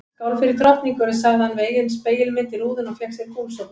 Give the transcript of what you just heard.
Skál fyrir drottningunni sagði hann við eigin spegilmynd í rúðunni og fékk sér gúlsopa.